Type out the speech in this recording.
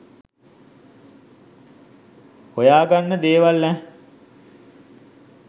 හොයා ගන්න දේවල් ඈහ්